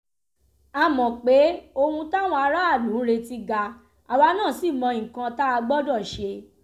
a mọ̀ pé ohun táwọn aráàlú ń retí ga àwa náà ṣì mọ nǹkan tá a gbọ́dọ̀ ṣe